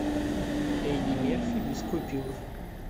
эдди мерфи без купюр